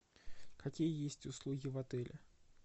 какие есть услуги в отеле